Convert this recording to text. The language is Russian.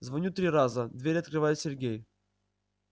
звоню три раза дверь открывает сергей